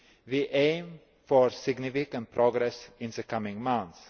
We aim for significant progress in the coming months.